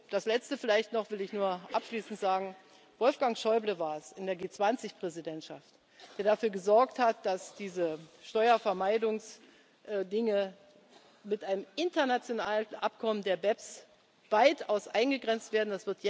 auch. Als Letztes vielleicht will ich noch abschließend sagen Wolfgang Schäuble war es in der G20 Präsidentschaft, der dafür gesorgt hat, dass diese Steuervermeidungsdinge mit einem internationalen Abkommen der BEPS weitaus eingegrenzt